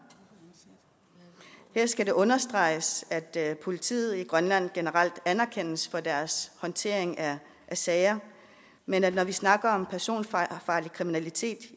her skal det understreges at politiet i grønland generelt anerkendes for deres håndtering af sager men når vi snakker om personfarlig kriminalitet